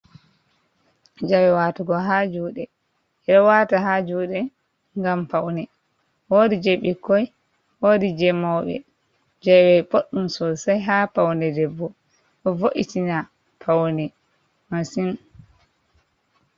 Jawe watugo ha juuɗe. Ɓe ɗo wata ha juuɗe ngam paune. Woodi jei bikkoi, woodi jei mauɓe. Jawe boɗɗum sosai ha paune debbo. Ɗo vo’itina paune masin.